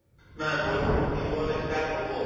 নাই বৰষুণ দিবলৈ ই start হ'ব